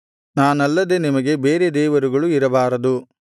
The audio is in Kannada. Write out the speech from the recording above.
ನಾನಲ್ಲದೆ ನಿಮಗೆ ಬೇರೆ ದೇವರುಗಳು ಇರಬಾರದು